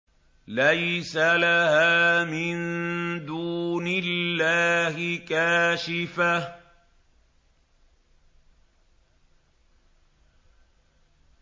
لَيْسَ لَهَا مِن دُونِ اللَّهِ كَاشِفَةٌ